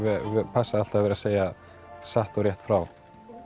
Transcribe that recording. passa alltaf að vera að segja satt og rétt frá